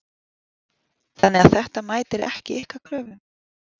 Þannig að þetta mætir ekki ykkar kröfum?